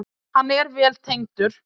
Hann er vel tengdur.